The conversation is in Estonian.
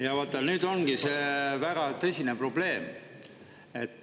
Jaa, vaata, nüüd ongi see väga tõsine probleem.